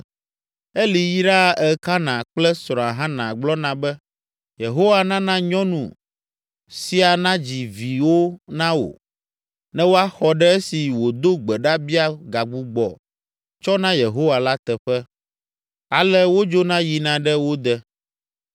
Eli yraa Elkana kple srɔ̃a Hana gblɔna be, “Yehowa nana nyɔnu sia nadzi viwo na wò ne woaxɔ ɖe esi wòdo gbe ɖa bia gagbugbɔ tsɔ na Yehowa la teƒe.” Ale wodzona yina ɖe wo de.